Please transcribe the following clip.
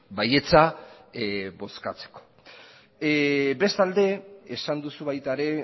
baietza bozkatzeko bestalde esan duzu baita ere